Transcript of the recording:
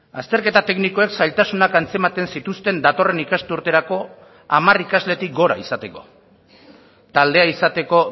azterketa teknikoek zailtasunak antzematen zituzten datorren ikasturterako hamar ikasletik gora izateko taldea izateko